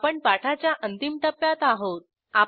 आपण पाठाच्या अंतिम टप्प्यात आहोत